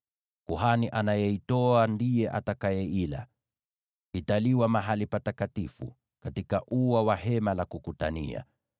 Kuhani anayeitoa ndiye atakayeikula; itakuliwa katika mahali patakatifu, katika ua wa Hema la Kukutania.